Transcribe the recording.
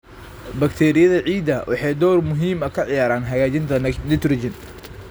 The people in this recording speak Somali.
Bakteeriyada ciidda waxay door muhiim ah ka ciyaaraan hagaajinta nitrogen.